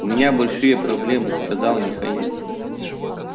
у меня большие проблемы сказал михаил